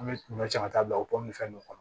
An bɛ ɲɔ cɛ ka taa bila o pɔmuso kɔnɔ